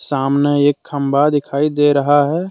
सामने एक खंभा दिखाई दे रहा है।